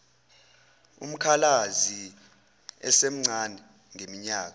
umkhalazi esemncane ngeminyaka